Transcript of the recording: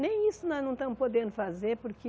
Nem isso nós não estamos podendo fazer porque